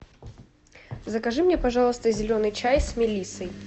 закажи мне пожалуйста зеленый чай с мелиссой